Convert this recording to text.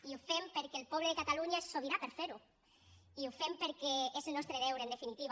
i ho fem perquè el poble de catalunya és sobirà per fer ho i ho fem perquè és el nostre deure en definitiva